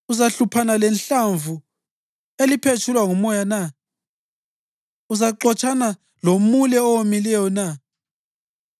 Uzahluphana lehlamvu eliphetshulwa ngumoya na? Uzaxotshana lomule owomileyo na?